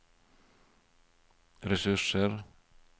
ressurser